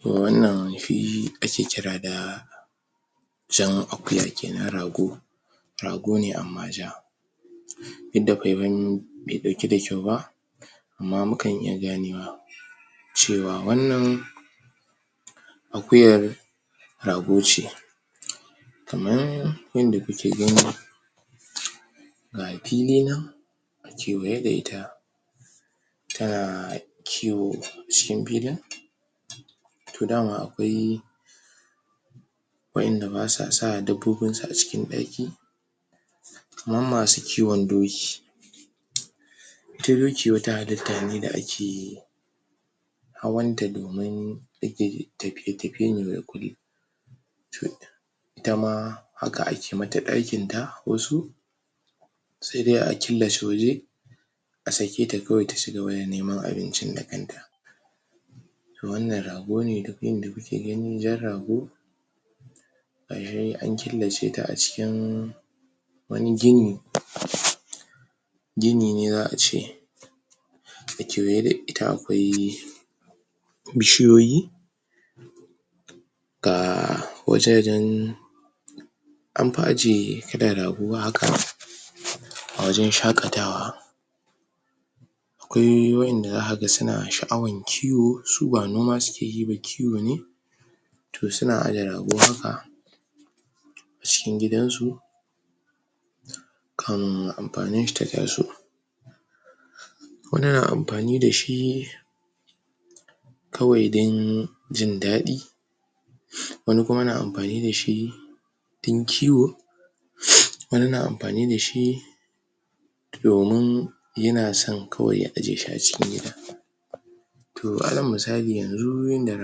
To wannan shi ake kira da jan akuya kenan rago rago ne amma ja duk da paipayin be ɗauki da kyau ba amma mukan iya ganewa cewa wannan akuyar rago ce kaman yadda kuke gani ga pili nan kewaye da ita tana kiwo cikin pilin to dama akwai waƴanda basa sa dabbobinsu a cikin ɗaki kaman masu kiwon doki ita doki wata halitta ne da ake hawanta domin tapiye-tapiye ne ita ma haka ake mata ɗakinta wasu se dai a killace waje a sake ta kawai ta cigaba da neman abincin da kanta to wannan rago ne duk inda kuke gani jan rago an killace ta a cikin wani gini gini ne za a ce a kewaye da ita akwai bishiyoyi ga wajajen am pi ajiye irin rago haka a wajen shaƙatawa akwai waƴanda zaka ga suna sha'awan kiwo su ba noma suke yi ba kiwo ne to suna aje rago haka cikin gidansu kan ampaninshi ta taso wani na ampani da shi kawai don jindaɗi wani kuma na ampani da shi din kiwo wani na ampani da shi domin yana san kawai ya aje shi a cikin gida to alal misali yanzu yanda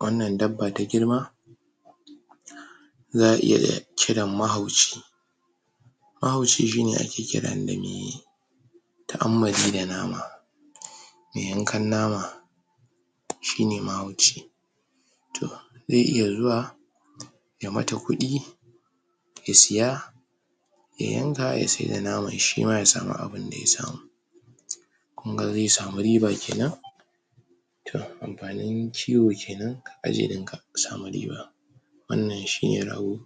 wannan dabba ta girma za a iya kiran mahauci mahauci shine ake kiran da me ta'ammali da nama me yankan nama shine mahauci to ze iya zuwa ya mata kuɗi ya siya ya yanka ya saida naman shima ya samu abunda ya samu kun ga ze samu riba kenan to ampanin kiwo kenan samu riba wannan shine rago.